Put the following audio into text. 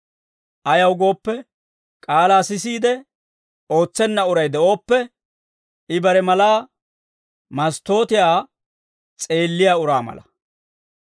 Ayaw gooppe, k'aalaa sisiide ootsenna uray de'ooppe, I bare malaa masttootiyaa s'eelliyaa uraa mala.